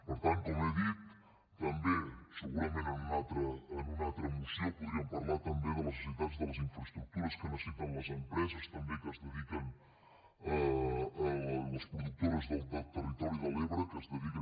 per tant com he dit també segurament en una altra moció podríem parlar també de les necessitats de les infraestructures que necessiten les empreses les productores del territori de l’ebre que es dediquen